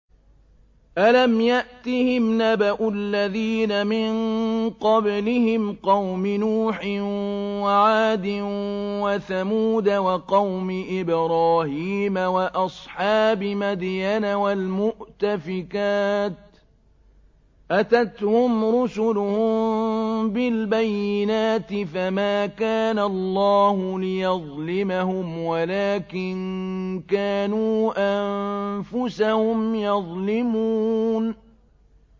أَلَمْ يَأْتِهِمْ نَبَأُ الَّذِينَ مِن قَبْلِهِمْ قَوْمِ نُوحٍ وَعَادٍ وَثَمُودَ وَقَوْمِ إِبْرَاهِيمَ وَأَصْحَابِ مَدْيَنَ وَالْمُؤْتَفِكَاتِ ۚ أَتَتْهُمْ رُسُلُهُم بِالْبَيِّنَاتِ ۖ فَمَا كَانَ اللَّهُ لِيَظْلِمَهُمْ وَلَٰكِن كَانُوا أَنفُسَهُمْ يَظْلِمُونَ